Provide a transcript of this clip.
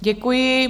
Děkuji.